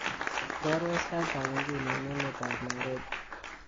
iborwon sait ab inguni en emet ab nairobi